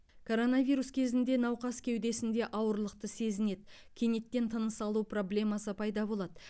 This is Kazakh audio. коронавирус кезінде науқас кеудесінде ауырлықты сезінеді кенеттен тыныс алу проблемасы пайда болады